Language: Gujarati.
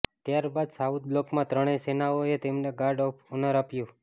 ત્યારબાદ સાઉથ બ્લોકમાં ત્રણેય સેનાઓએ તેમને ગાર્ડ ઓફ ઓનર આપ્યું